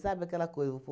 Sabe aquela coisa? Vou